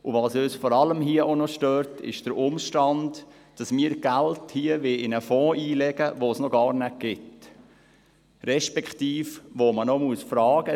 Was uns hier vor allem auch noch stört, ist der Umstand, dass wir Geld in einen Fonds einlegen wollen, den es noch gar nicht gibt, respektive, zu dem man noch Fragen stellen muss.